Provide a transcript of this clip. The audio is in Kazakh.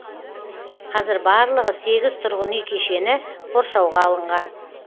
қазір барлығы сегіз тұрғын үй кешені қоршауға алынған